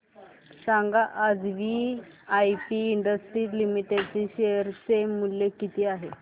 सांगा आज VIP industries limited चे शेअर चे मूल्य किती आहे